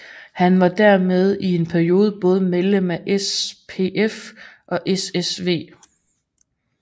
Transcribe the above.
Han var dermed i en periode både medlem af SPF og SSW